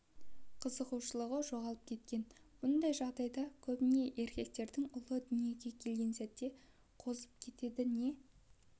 қызығушылығы жоғалып кеткен мұндай жағдай көбіне еркектердің ұлы дүниеге келген сәтте қозып кетеді не